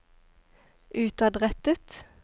utadrettet